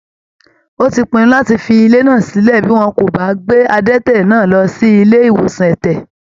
Ó ti pinnu láti fi ilé sílẹ bí wọn ò bá gbé adẹ́tẹ̀ náà lọ sí ilé ìwòsan ẹ̀tẹ̀.